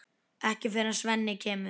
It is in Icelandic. Ekki fyrr en Svenni kemur.